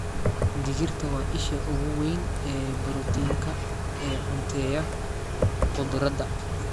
Digirta waa isha ugu weyn ee borotiinka ee cunteeya khudradda.